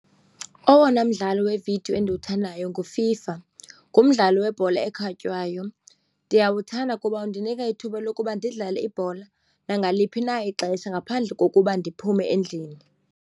Owona mdlalo wevidiyo endiwuthandayo nguFIFA, ngumdlalo webhola ekhatywayo. Ndiyawuthanda kuba undinika ithuba lokuba ndidlale ibhola nangaliphi na ixesha ngaphandle kokuba ndiphume endlini.